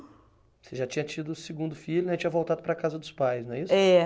Você já tinha tido o segundo filho né, e tinha voltado para a casa dos pais, não é isso? É